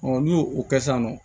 n'u y'o o kɛ sisan nɔ